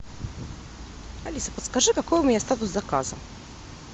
алиса подскажи какой у меня статус заказа